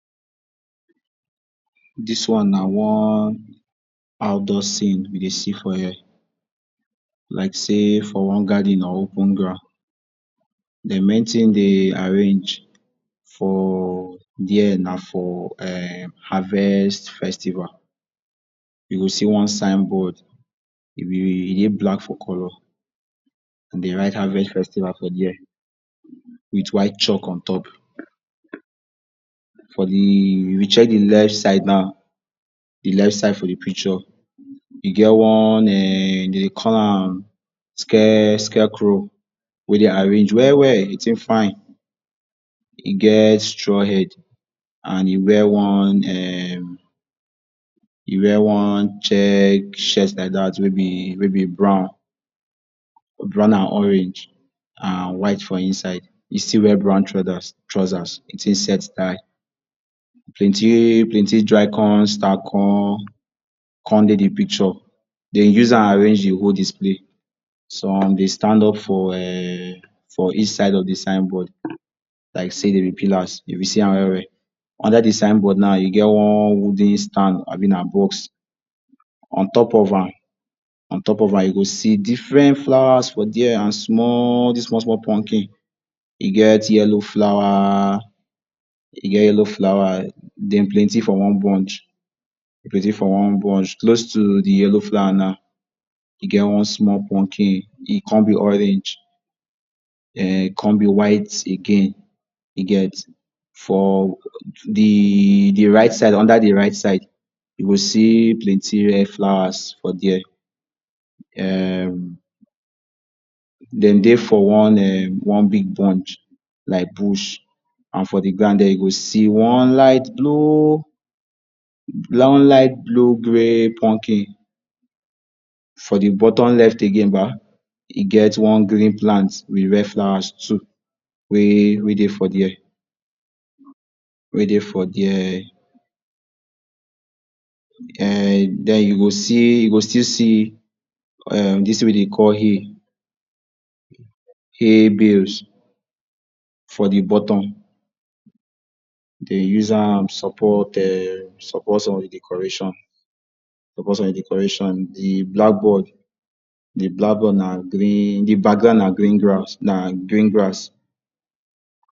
Dis one na one outdoor scene we dey see for here like sey for one garden or open ground. Di main tin de arrange for there na for um harvest festival. You go see one signboard, e be e dey black for colour, an de write Harvest Festival for there with white chalk on top. For di if you check di left side nau, di left side for di picture e get one um de dey call am scare scarecrow wey de arrange well-well. Di tin fine. E get straw head, an e wear one um e wear one check shirt like dat wey be wey be brown brown an orange, an white for inside. E still wear brown trousers. Di tin set die. Plenti-plenti dry con con con dey di picture. Den use an arrange di whole display. Some dey stand up for um for each side of di signboard like sey de be pillars if you see an well-well. Under di signboard nau, you get one wooden stand abi na box. On top of an, on top of an you go see different flowers for there an small dis small-small pumpkin. E get yellow flower e get yellow flower, dem plenti for one bunch, plenti for one bunch. Close to di yellow flower nau, e get one small pumpkin, e con be orange um con be white again. You get? For di di right side under di right side, you go see plenti rare flowers for there, um dem dey for one um one big bunch like bush. An for di ground there, you go see one light blue light blue grey pumpkin. For di bottom left again bah, e get one green plant with red flowers too wey wey dey for there wey dey for there. um Then you go see you go still see um dis tin wey de call hay—hay bales—for di bottom. De use am support um support some of di decoration support some of di decoration. Di black board di black board na green di background na green grass, na green grass.